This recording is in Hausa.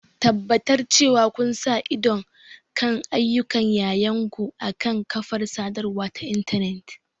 Tabbatar cewa kun sa ido kan ayyukan yayanku akan kafar sadarwa ta intanet.